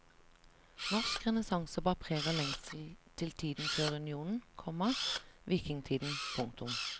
Norsk renessanse bar preg av lengsel til tiden før unionen, komma vikingtiden. punktum